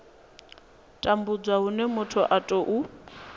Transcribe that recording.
tambudzwa hune muthu a tou